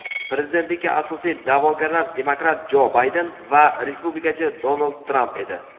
Prezidentlikka asosiy da’vogarlar – demokrat Jo Bayden va respublikachi Donald Tramp edi.